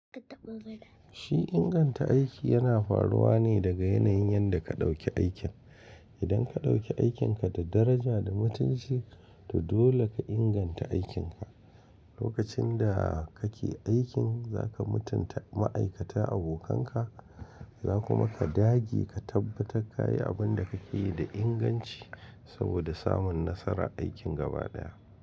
Shi inganta aiki yana faruwa ne daga yanayin yadda ka ɗauki aikin. Idan ka ɗauki aikinka da daraja da mutunci, to dole ka inganta aikin ka. Lokacin da kake aikin, za ka mutunta ma'aikata abokanka, za kuma ka dage ka tabbata ka yi abin da kake yi da inganci saboda samun nasara aikin gaba ɗaya.